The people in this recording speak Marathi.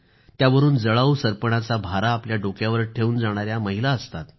त्यावरून जळावू सरपणाचा भारा आपल्या डोक्यावर घेवून जाणाऱ्या महिला असतात